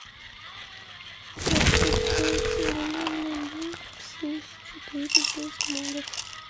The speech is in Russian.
как построить современный дом в симс четыре без модов